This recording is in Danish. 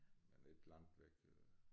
Men ikke langt væk øh